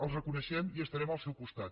els reconeixem i estarem al seu costat